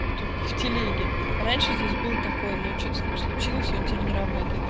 только в телеге раньше здесь был такой но что-то с ним случилось он тебя не работает